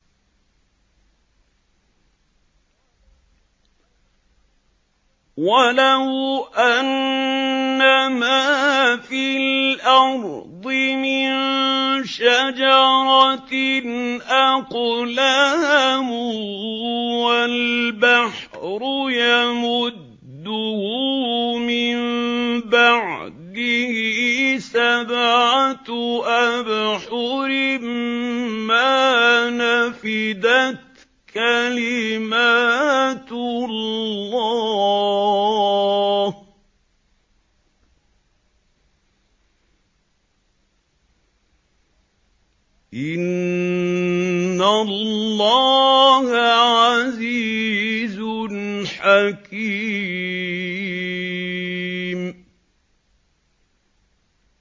وَلَوْ أَنَّمَا فِي الْأَرْضِ مِن شَجَرَةٍ أَقْلَامٌ وَالْبَحْرُ يَمُدُّهُ مِن بَعْدِهِ سَبْعَةُ أَبْحُرٍ مَّا نَفِدَتْ كَلِمَاتُ اللَّهِ ۗ إِنَّ اللَّهَ عَزِيزٌ حَكِيمٌ